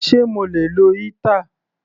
Sé mo lè lo heater?.